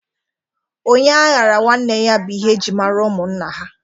Onye a ghara nwanne ya bụ ihe e ji mara ụmụnna ha